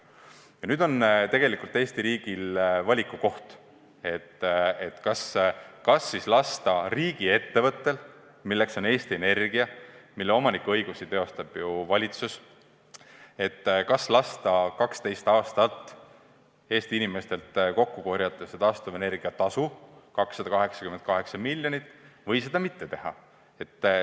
Ja nüüd on tegelikult Eesti riigil valiku koht: kas lasta riigiettevõttel ehk siis Eesti Energial, mille omanikuõigusi teostab valitsus, 12 aastat Eesti inimestelt kokku korjata taastuvenergia tasu kokku 288 miljonit või seda mitte teha.